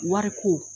Wariko